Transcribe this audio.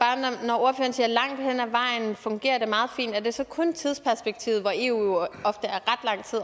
langt hen ad vejen fungerer meget fint er det så kun tidsperspektivet hvor eu jo ofte er